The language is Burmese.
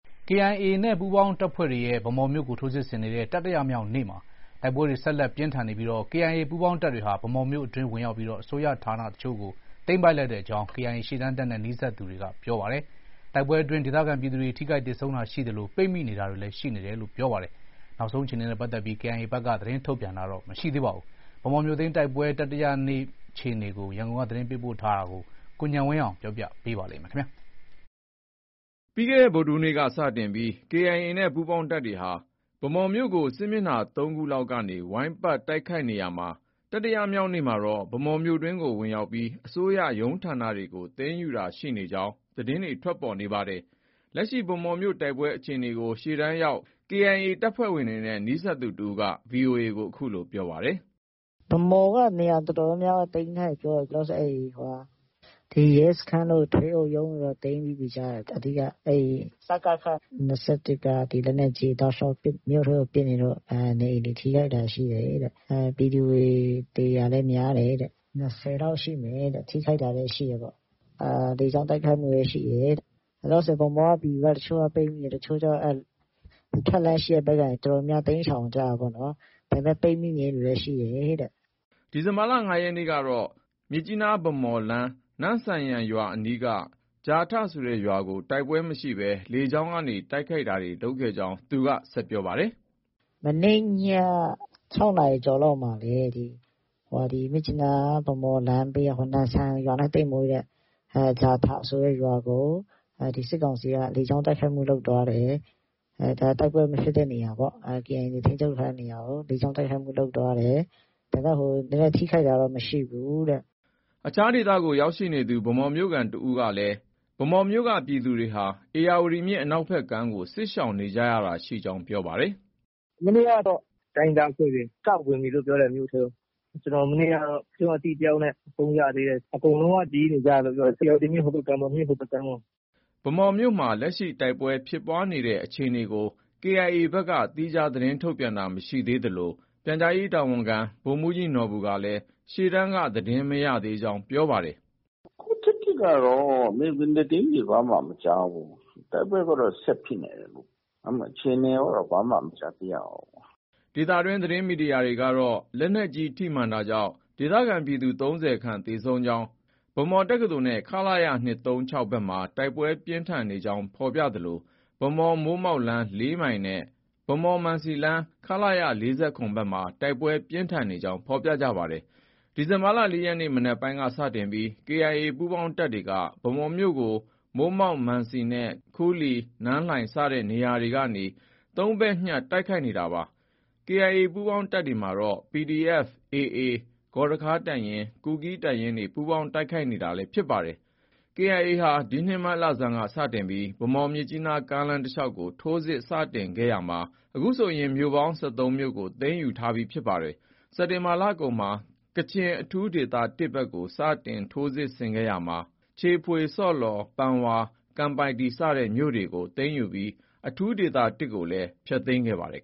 KIA နဲ့ ပူးပေါင်းတပ်ဖွဲ့တွေရဲ့ ဗန်းမော်မြို့ကို ထိုးစစ်ဆင်နေတဲ့ တတိယမြောက်နေ့မှာတိုက်ပွဲတွေ ဆက်လက် ပြင်းထန်နေပြီး KIA ပူးပေါင်းတပ်တွေဟာ ဗန်းမော်မြို့အတွင်းဝင်ရောက်ပြီး အစိုးရဌာန အချို့ကို သိမ်းပိုက်လိုက်ကြောင်း KIA ရှေ့တန်းတပ်နဲ့ နီးစပ်သူတွေက ပြောပါတယ်။ တိုက်ပွဲအတွင်း ဒေသခံပြည်သူတွေ ထိခိုက်သေဆုံးတာရှိသလို ပိတ်မိနေတာတွေလည်း ရှိနေတယ်လို့လည်းပြောပါတယ်။ KIA ဘက်ကတော့ သတင်းထုတ်ပြန်တာ မရှိသေးပါဘူး။ ဗန်းမော်မြို့သိမ်းတိုက်ပွဲ တတိယမြောက်နေ့ အခြေအနေကို ရန်ကုန်က အခုလို သတင်းပေးပို့ထားပါတယ်။ ပြီးခဲ့တဲ့ ဗုဒ္ဓဟူးနေ့က စတင်ပြီး KIA နဲ့ ပူးပေါင်းတပ်တွေဟာ ဗန်းမော်မြို့ကို စစ်မျက်နှာ ၃ခုလောက်က ဝိုင်းပတ်တိုက်ခိုက်နေရာမှာ တတိယမြောက်နေ့မှာတော့ ဗန်းမော်မြို့အတွင်းကို ဝင်ရောက်ပြီး အစိုးရရုံးဌာနတွေကို သိမ်းယူတာရှိနေကြောင်း သတင်းတွေ ထွက်ပေါ်နေတာပါ။ လက်ရှိ ဗန်းမော်မြို့ တိုက်ပွဲ အခြေအနေကို ရှေ့တန်းရောက် KIA တပ်ဖွဲ့ဝင်တွေနဲ့ နီးစပ်သူတဦးက VOA ကို အခုလို ပြောပါတယ်။ “ဗန်းမော်က နေရာအတော်များများ သိမ်းထားပြီပြောတယ်။ ဒီ ရဲစခန်းတို့ ထွေအုပ်ရုံးတို့တော့ သိမ်းထားပြီ ကြားတယ်။ အဓိက စကခ ၂၁ က လက်နက်ကြီးတွေ တောက်လျောက် မြို့ထဲကို ပစ်နေလို့ နေအိမ်တွေ ထိခိုက်တာရှိတယ်။ ပြည်သူတွေ သေတာလည်း များတယ်တဲ့။ ၂၀လောက် ရှိမယ်တဲ့။ ထိခိုက်တာလည်း ရှိမယ်တဲ့။ လေကြောင်း တိုက်ခိုက်မှုလည်း ရှိတယ်တဲ့။ လောလောဆည်ဗန်းမော်က ပြည်သူတွေ ပိတ်မိနေတယ်။ တချို့ကျ အဲဒီ ထွက်လမ်းရှိတဲ့ဘက်ကနေ တော်တော်များများ တိမ်းရှောင်ကြတာပေ့ါနော်။ ဒါပေမဲ့ ပိတ်မိနေတဲ့သူလည်း ရှိတယ် တဲ့။” ဒီလ ၅ ရက်နေ့ကတော့ မြစ်ကြီးနား- ဗန်းမော်လမ်း နမ့်ဆန်ယန်ရွာအနီးက ဂျာထဆိုတဲ့ရွာကို တိုက်ပွဲမရှိဘဲ လေကြောင်းတိုက်ခိုက်တာတွေ လုပ်ခဲ့ကြောင်းလည်း ဆက်ပြောပါတယ်။ “မနေ့ည ၆နာရီကျော်လောက်မှာလည်း ဒီ မြစ်ကြီးနား- ဗန်းမော်လမ်းက နမ့်ဆန်ယန်ရွာနဲ့ သိပ်မဝေးတဲ့ ဂျာထဆိုတဲ့ရွာကို စစ်ကောင်စီက လေကြောင်းတိုက်ခိုက်မှုလုပ်သွားတယ်။ တိုက်ပွဲမဖြစ်တဲ့နေရာပေါ့။ KIA ထိန်းချုပ်တဲ့ နေရာကို လေကြောင်းတိုက်ခိုက်မှုလုပ်သွားတယ်။ ဒါပေမဲ့ ထိခိုက်တာတော့ မရှိဘူးတဲ့။” အခြားဒေသကို ရောက်ရှိနေသူ ဗန်းမော်မြို့ခံတယောက်ကလည်း ဗန်းမော်မြို့က ပြည်သူတွေဟာ ဧရာဝတီမြစ်အနောက်ဖက်ကမ်းကို စစ်ရှောင်နေကြတာရှိကြောင်း ပြောပါတယ်။ “ မနေ့ကတော့ တိုင်းရင်းသားအဖွဲ့တွေ စဝင်ပြီလို့ ပြောတယ်။ မြို့ထဲကို ။ ကျနော် မနေ့ကတော့ ကျနော့ အသိတယောက်နဲ့ ဖုန်းရသေးတယ်။ အကုန်လုံးက ဒီဘက်ကမ်းကို ပြေးနေကြတယ်လု့ိပြောတယ်။ ဧရာဝတီမြစ် ဟိုဘက်ကမ်းပေါ့။ မြစ်ဟိုဘက်ကမ်းကို။” ဗန်းမော်မြို့မှာ လက်ရှိတိုက်ပွဲဖြစ်ပွားနေတဲ့အခြေအနေကို KIA ဘက်က သီးခြားသတင်းထုတ်ပြန်တာ မရှိသေးသလို ပြန်ကြားရေးတာဝန်ခံ ဗိုလ်မှုးကြီးနော်ဘူကလည်း ရှေ့တန်းက သတင်းမရသေးကြောင်း ပြောဆိုပါတယ်။ “ အခုထက်ထိကတော့ မြေပြင်သတင်းတွေ ဘာမှ မကြားဘူး။ တိုက်ပွဲကတော့ ဆက်ဖြစ်နေတယ်။ ဒါပေမဲ့ အခြေအနေကိုကတော့ ဘာမှ မကြားသိရဘူး။” ဒေသတွင်း သတင်းမီဒီယာတွေကတော့ လက်နက်ကြီး ထိမှန်တာကြောင့် ဒေသခံပြည်သူ ၃၀ခန့် သေဆုံးနေကြောင်း ၊ ဗန်းမော်တက္ကသိုလ်နဲ့ ခလ၇ ၂၃၆ ဘက်မှာ တိုက်ပွဲ ပြင်းထန်နေကြောင်းဖော်ပြသလို ဗန်းမော်-မိုးမောက်လမ်း ၄မိုင်နဲ့ ဗန်းမော်- မံစီလမ်း ခလရ ၄၇ ဘက်မှာ တိုက်ပွဲပြင်းထန်နေကြောင်း ဖော်ပြကြပါတယ်။ ဒီလ ၄ရက်နေ့ မနက်ပိုင်းက စတင်ပြီး KIA ပူးပေါင်းတပ်တွေက ဗန်းမော်မြို့ကို မိုးမောက်၊ မံစီနဲ့ ခူးလီ၊ နန်းလှိုင် စတဲ့နေရာတွေကနေ ၃ဘက်ညှပ်တိုက်ခိုက်နေတာပါ။ KIA ပူးပေါင်းတပ်တွေမှာတော့ PDF၊ AA၊ ဂေါ်ရခါးတပ်ရင်း၊ ကူးကီးတပ်ရင်းတွေ ပူးပေါင်းတိုက်ခိုက်နေတာလည်း ဖြစ်ပါတယ်။ KIA ဒီနှစ် မတ်လဆန်းက စတင်ပြီး ဗန်းမော် - မြစ်ကြီးနားကားလမ်းတလျောက်ကို ထိုးစစ်စတင်ခဲ့ရာမှာ အခုဆိုရင် မြို့ပေါင်း ၁၃မြို့ကို သိမ်းယူထားပြီးဖြစ်ပါတယ်။ စက်တင်ဘာလကုန်မှာ ကချင်အထူးဒေသ ၁ ဘက်ကို စတင်ထိုးစစ်ဆင်ခဲ့ရာမှာ ချီဖွေ၊ ဆော့လော်၊ ပန်ဝါ၊ ကန်ပိုက်တီ စတဲ့မြို့တွေကို သိမ်းယူပြီး အထူးဒေသ ၁ကိုလည်း ဖျက်သိမ်းခဲ့ပါတယ်